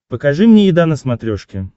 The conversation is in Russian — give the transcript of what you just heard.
покажи мне еда на смотрешке